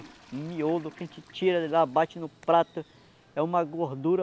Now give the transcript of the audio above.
Um miolo que a gente tira, bate no prato, é uma gordura